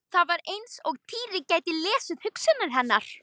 Það var eins og Týri gæti lesið hugsanir hennar.